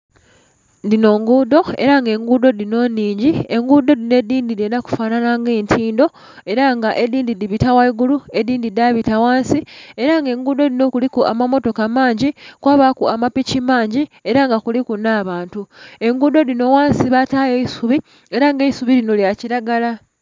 Dhinho ngundho era nga engudho dhinho nhingi, engudho dhinho edhindhi edhendha kufanhanha nga etindho era nga edhindhi dhibita ghagulu, edhindhi dhabita ghansi era nga engudho dhinho kuliku amamotoka mangi kwabaku amapiki mangi era nga kuliku nhe bantu, engudho dhinho ghansi batayo eisubi era nga eisubi linho lya kilagala.